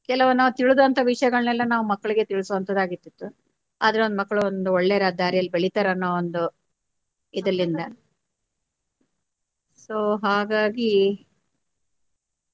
ಕೆಲವು ನಾವು ತಿಳಿದಂತ ವಿಷಯಗಳನ್ನೆಲ್ಲಾ ನಾವು ಮಕ್ಕಳಿಗೆ ತಿಳಿಸುವಂತದಾಗಿರತಿತ್ತು ಆದ್ರೆ ಒಂದು ಮಕ್ಕಳು ಒಂದು ಒಳ್ಳೆ ದಾರಿಯಲ್ಲಿ ಬೆಳಿತಾರೆ ಅನ್ನೊ ಒಂದು ಇದರಲಿಂದ so ಹಾಗಾಗಿ.